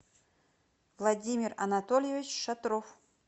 владимир анатольевич шатров